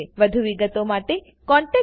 વધુ વિગતો માટે contactspoken tutorialorg પર લખો